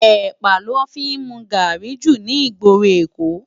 Èpá lò fi n mú gári jú ni igbóró Ékó